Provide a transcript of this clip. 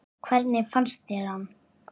Hvernig fannst þér hann?